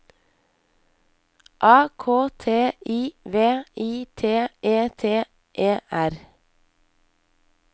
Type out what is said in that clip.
A K T I V I T E T E R